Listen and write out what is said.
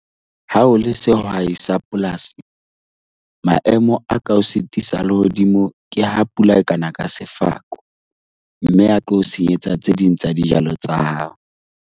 Ha o le sehwai sa polasi, maemo a ka o sitisa a lehodimo ke ha pula e ka na ka sefako mme ya ko o senyetsa tse ding tsa dijalo tsa hao.